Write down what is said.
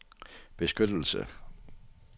beskyttelse